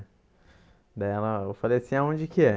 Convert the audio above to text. Daí ela, eu falei assim, aonde que é?